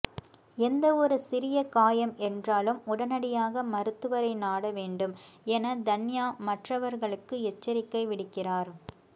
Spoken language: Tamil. எந்தவொரு சிறிய காயம் என்றாலும் உடனடியாக மருத்துவரை நாட வேண்டும் என தன்யா மற்றவர்களுக்கு எச்சரிக்கை விடுக்கிறார்